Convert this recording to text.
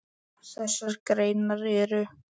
Þessar greinar eru